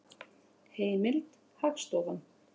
Heimild: Hagstofan.